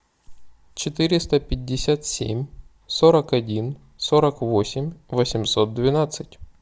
четыреста пятьдесят семь сорок один сорок восемь восемьсот двенадцать